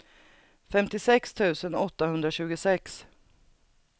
femtiosex tusen åttahundratjugosex